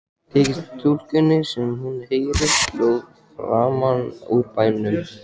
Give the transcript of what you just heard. Þykir stúlkunni sem hún heyri hljóð framan úr bænum.